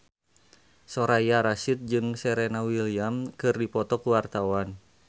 Soraya Rasyid jeung Serena Williams keur dipoto ku wartawan